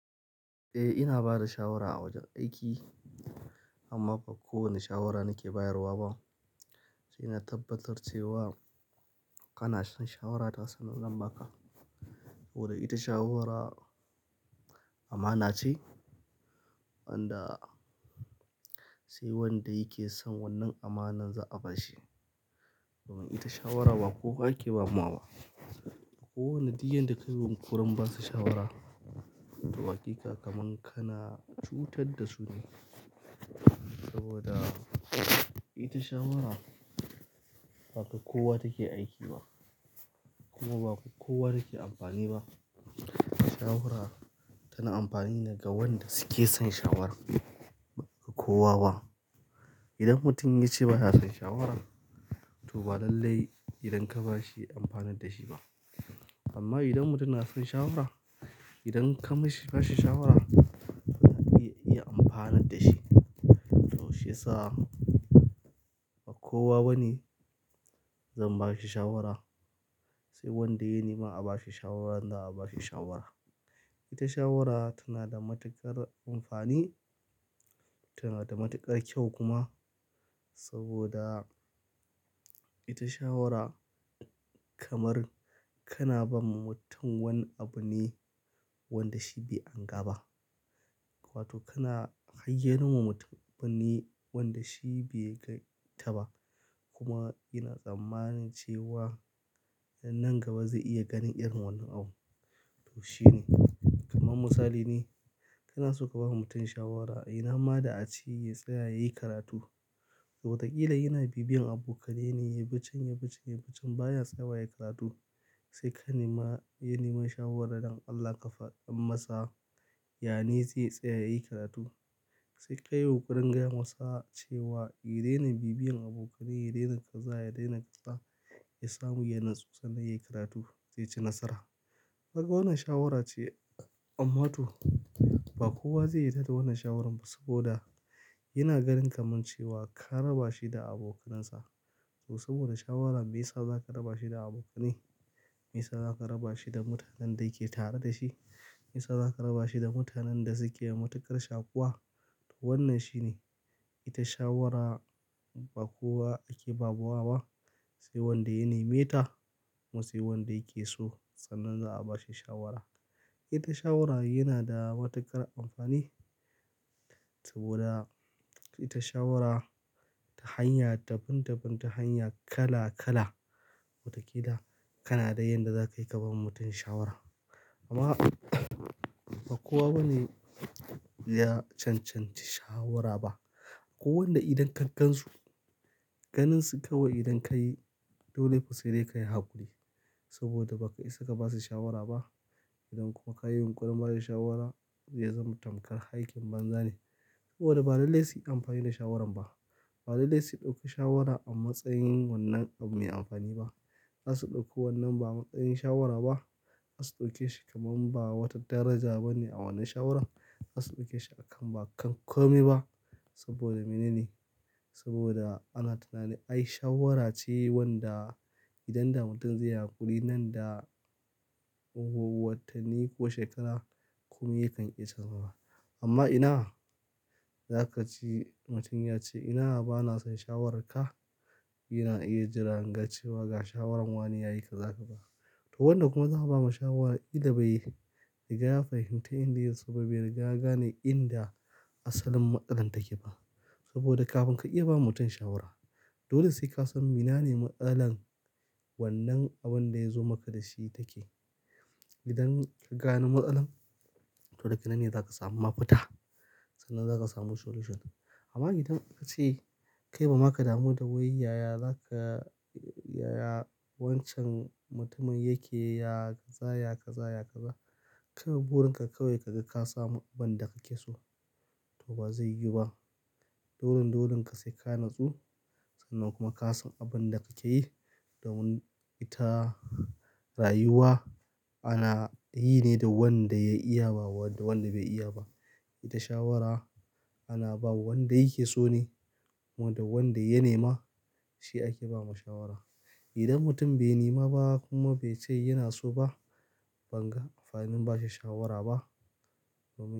Eh, ina ba da shawara a wajen aiki amma ba kowane shawara nake bayarwa ba. Sai na tabbatar cewa kana son shawarata sannan zan ba ka. Saboda ita shawara amana ce wanda sai wanda yake son wannan amanar za'a ba shi. Domin ita shawara ba kowa ake ba mawa ba. Kowa ne diyan da kai wukurin ba su shawara. To waƙiƙa kaman kana cutar da su ne. Saboda ita shawara ba kowa take aiki ba kuma ba kowa take amfani ba. Shawara tana amfani ne ga wanda suke son shawaran, ba kowa ba. Idan mutum ya ce ba ya son shawaran to ba lallai idan ka ba shi, ya amfanar da shi ba. Amma idan mutum na son shawara, idan ka ma shi, ba shi shawara yana iya amfanar da shi. To shi yasa ba kowa bane zan ba shi shawara. Sai wanda ya nema a ba shi shawara, nan da a ba shi shawara. Ita shawara tana da matuƙar amfani, tana da matuƙar kyau kuma. Saboda ita shawara kamar kana ba ma mutum wani abu ne wanda shi bai hanga ba. Wato kana haiyano ma mutum wani abu ne wanda shi bai gan ta ba. Kuma yana tsammani cewa nan gaba zai iya ganin irin wannan abu. To shine. Kaman misali ne, kana so ka ba mutum shawara, "Eh, na ma da a ci ya tsaya ya yi karatu." To wakila yana bibiyan abokane ne ya bi chan, ya bi chan, ya bi chan baya tsayawa ya yi karatu. Sai ka nema, ya nema shawara don Allah ka faɗan masa, yane zai tsaya ya yi karatu. Sai ka yunkurin gaya masa cewa, ya daina bibiyan abokane, ya daina kaza, ya daina kaza, ya samu yanan tsutsa nan ya yi karatu zai ci nasara." Waka wannan shawara ce amma to ba kowa zai yarda da wannan shawarar ba saboda yana ganin kaman cewa ka raba shi da abokanan sa. To saboda shawaran me ya sa za ka raba shi da abokane? Me ya sa za ka raba shi da mutanen da yake tare da shi? Me ya sa za ka raba shi da mutanen da suke matuƙar shakuwa? To wannan shine. Ita shawara ba kowa ake ba mawa ba. Sai wanda ya nema ta musai wanda yake so sannan za a ba shi shawara. Ita shawara yana da matuƙar amfani saboda ita shawara ta hanya, daban daban ta hanya kala kala. Wakila kana da yanda za ka yi ka ba mutum shawara. Amma ba kowa bane ya cancanci shawara ba. Kowane idan kan kansu, ganin su kawai idan ka yi, dole fa sai dai kayi haƙuri. Saboda ba ka isa ka ba su shawara ba. Idan kuma ka yi wa ƙuringar shawara, ya zama tamkar aikin banza ne. Saboda ba lallai su yi amfani da shawaran ba. Ba lallai su ɗauki shawara a matsayin wannan abu mai amfani ba. Za su ɗauki wannan ba a matsayin shawara ba. Za su ɗauke shi kaman ba a wata daraja bane a wannan shawarar. Za su ɗauke shi a kan ba kan komai ba. Saboda menene? Saboda ana tunani ai shawara ce wanda idan da mutum zai yi haƙuri nan da watanni ko shekara kuma yakan iya canzawa. Amma ina za ka ci-- mutum ya ce, "ina bana son shawararka." Yana iya jira an ga cewa ga shawarar wane ya yi ka za ka ba. To wannan kuma za a ba ma shawara idan bai riga fahimta inda sababin bai riga ga ne inda asalin matsalar take ba. Saboda kafin ka iya ba mutum shawara, dole sai ka san ina ne matsalar wannan abun da ya zo maka da shi take. Idan ka gane matsalar, to daga nan ne za ka samu mafita sannan za ka samu solution. Amma idan ka ce kai ba ma ka damu da wai yaya za ka, yaya wancan mutumin yake, ya kaza, ya kaza, ya kaza. Kai ma burin ka kawai ka ga ka samu abin da ka ke so to ba zai yi ba. Dolen dolen ka sai ka natsu sannan kuma ka san abin da ka ke yi da wani ita rayuwa ana yi ne da wanda ya iya ba wanda bai iya ba. Ita shawara ana ba wa wanda yake so ne kuma da wanda ya nema shi ake ba ma shawara. Idan mutum bai nema ba kuma bai ce yana so ba, ban ga amfanin ba shi shawara ba domin.